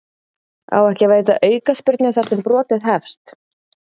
Á ekki að veita aukaspyrnu þar sem brotið hefst?